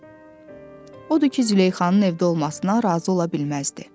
Odur ki, Züleyxanın evdə olmasına razı ola bilməzdi.